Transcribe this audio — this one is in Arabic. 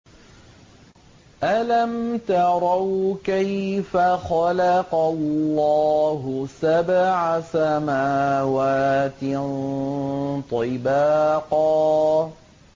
أَلَمْ تَرَوْا كَيْفَ خَلَقَ اللَّهُ سَبْعَ سَمَاوَاتٍ طِبَاقًا